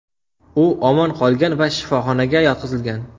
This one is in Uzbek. U omon qolgan va shifoxonaga yotqizilgan.